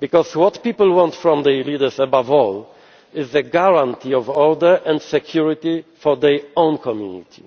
because what people want from their leaders above all is a guarantee of order and security for their own community.